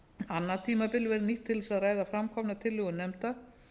annað tímabilið verði nýtt til að ræða framkomnar tillögur nefnda